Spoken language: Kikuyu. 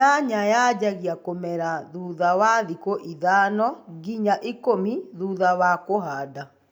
Nyanya yajagia kũmera thutha wa thikũ ithano nginya ikũmi thutha wa kuhada